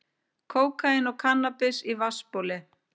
Kókaín og kannabis í vatnsbóli